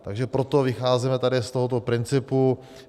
Takže proto vycházíme tady z tohoto principu.